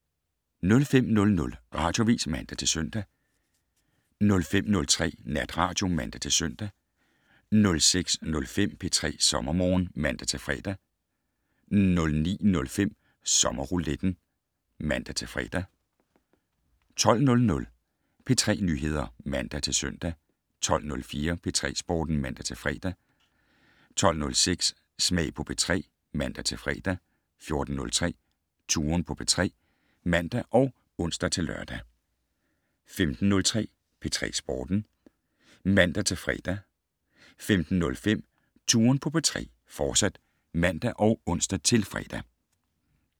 05:00: Radioavis (man-søn) 05:03: Natradio (man-søn) 06:05: P3 SommerMorgen (man-fre) 09:05: Sommerrouletten (man-fre) 12:00: P3 Nyheder (man-søn) 12:04: P3 Sporten (man-fre) 12:06: Smag på P3 (man-fre) 14:03: Touren på P3 (man og ons-lør) 15:03: P3 Sporten (man-fre) 15:05: Touren på P3, fortsat (man og ons-fre)